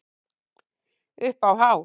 Upp á hár.